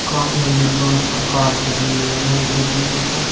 का इन डिब्बों के ऊपर कार छपी हुई है एक डब्बे के ऊपर --